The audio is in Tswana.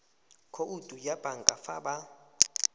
khoutu ya banka fa ba